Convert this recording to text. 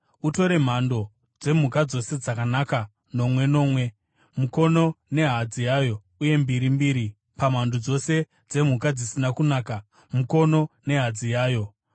Utore mhando dzemhuka dzose dzakanaka nomwe nomwe, mukono nehadzi yayo uye mbiri mbiri pamhando dzose dzemhuka dzisina kunaka, mukono nehadzi yayo,